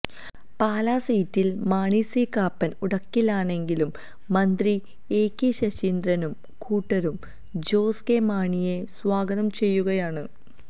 പാലാ സീറ്റിൽ മാണി സി കാപ്പൻ ഉടക്കിലാണെങ്കിലും മന്ത്രി എകെ ശശീന്ദ്രനും കൂട്ടരും ജോസ് കെ മാണിയെ സ്വാഗതം ചെയ്യുകയാണ്